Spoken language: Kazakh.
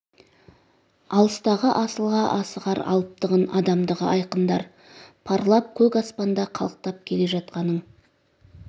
алыстағы асылға асығар алыптығын адамдығы айқындар парлап көк аспанда қалықтап келе жатқаның